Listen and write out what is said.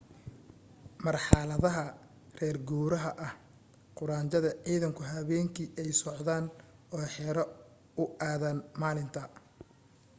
marxaladaha reer guuraaga ah quraanjada ciidanku habeenkii ayay socodaan oo xero u aadaan maalinta